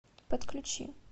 подключи